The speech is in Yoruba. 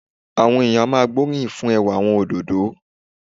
Àwọn èèyàn á máa gbóríyìn fún ẹwà àwọn òdòdó